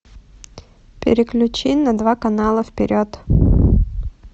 переключи на два канала вперед